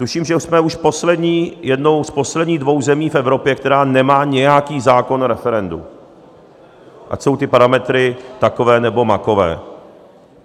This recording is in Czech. Tuším, že jsme už jednou z posledních dvou zemí v Evropě, která nemá nějaký zákon o referendu, ať jsou ty parametry takové nebo makové.